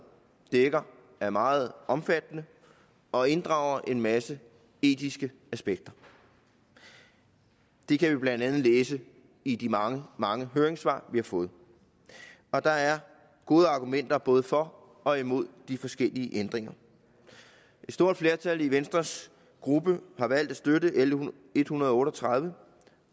dækker er meget omfattende og inddrager en masse etiske aspekter det kan man blandt andet læse i de mange mange høringssvar vi har fået og der er gode argumenter både for og imod de forskellige ændringer et stort flertal i venstres gruppe har valgt at støtte l en hundrede og otte og tredive